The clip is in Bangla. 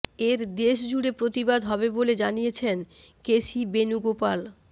এর দেশ জুড়ে প্রতিবাদ হবে বলে জানিয়েছেন কেসি বেনুগোপাল